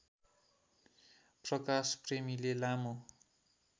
प्रकाश प्रेमीले लामो